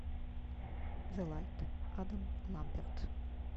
зе лайт адам ламберт